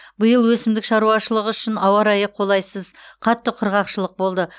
биыл өсімдік шаруашылығы үшін ауа райы қолайсыз қатты құрғақшылық болды